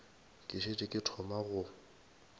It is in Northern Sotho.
ke šetše ke thoma go